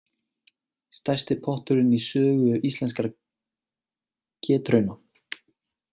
Stærsti potturinn í sögu Íslenskra getrauna